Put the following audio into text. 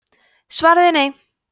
svarið er nei